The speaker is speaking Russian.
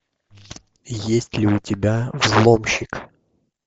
есть ли у тебя взломщик